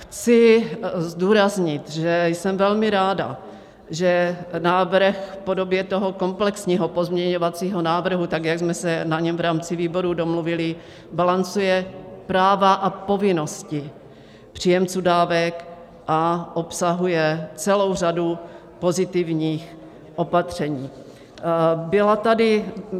Chci zdůraznit, že jsem velmi ráda, že návrh v podobě toho komplexního pozměňovacího návrhu tak, jak jsme se na něm v rámci výboru domluvili, balancuje práva a povinnosti příjemců dávek a obsahuje celou řadu pozitivních opatření.